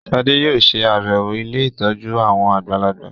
Shade yóò ṣe àbẹwò ílé ìtọjú àwọn àgbàlagbà.